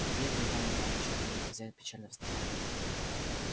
бедный иван иваныч говорил хозяин печально вздыхая